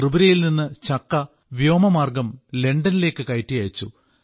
ത്രിപുരയിൽ നിന്ന് ചക്ക വ്യോമമാർഗ്ഗം ലണ്ടനിലേക്ക് കയറ്റി അയച്ചു